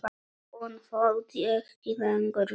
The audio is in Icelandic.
Hún þoldi ekki lengur við.